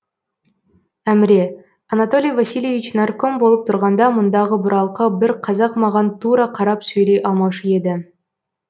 әміре анатолий васильевич нарком болып тұрғанда мұндағы бұралқы бір қазақ маған тура қарап сөйлей алмаушы еді